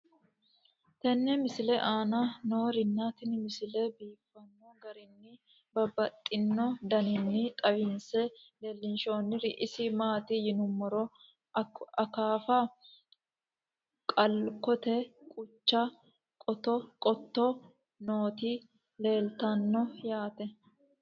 tenne misile aana noorina tini misile biiffanno garinni babaxxinno daniinni xawisse leelishanori isi maati yinummoro akaafu, qalacotte gucha, qotto nootti leelittanno yaatte